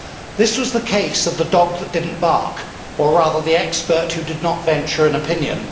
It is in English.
This was the case of the dog that did not bark or rather the expert who did not venture an opinion.